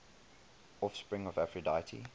offspring of aphrodite